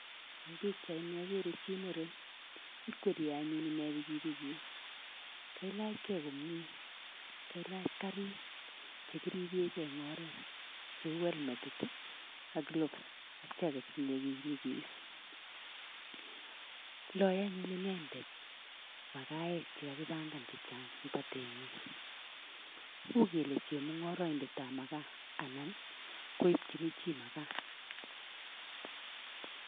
Eng pikchaini akere chi muren, ikwerie anyun ine pikipikit, kailachkei komie, kailach karik che kiribegei eng oret cheu helmetit ii ak gloves ak jeketit ne nyikis, loe anyun inendet makaek che kakibangan che chang eng batenyi, uu kele chemungoroindetab makaa, anan koipchini chii makaa.